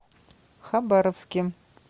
хабаровске